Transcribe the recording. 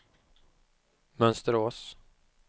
Mönsterås